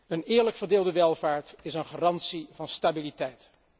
Een eerlijk verdeelde welvaart is een garantie voor stabiliteit.